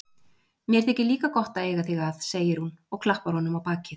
Mér þykir líka gott að eiga þig að, segir hún og klappar honum á bakið.